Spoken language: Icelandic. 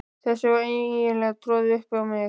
Þessu var eiginlega troðið upp á mig.